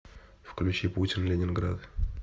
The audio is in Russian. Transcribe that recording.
включи путин ленинград